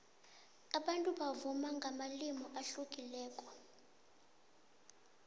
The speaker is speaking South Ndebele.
abantu bavuma ngamalimi ahlukileko